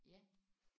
Ja